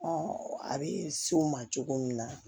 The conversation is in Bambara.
a bɛ s'o ma cogo min na